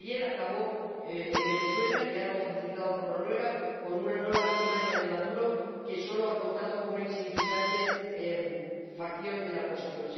Ayer acabó en Venezuela el diálogo facilitado por Noruega con una nueva artimaña de Maduro, que solo ha contado con una insignificante facción de la oposición.